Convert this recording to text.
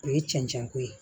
O ye cɛncɛn ko ye